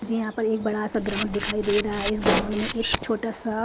मुझे यहां पर एक बड़ा सा ग्राउंड दिखाई दे रहा है इस ग्राउंड में एक छोटा सा--